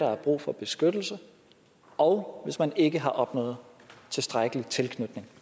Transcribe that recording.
er brug for beskyttelse og hvis man ikke har opnået tilstrækkelig tilknytning